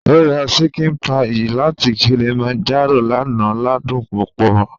Ó ra ṣíkìn páyì láti Kilimanjaro lánàá ládùn púpọ̀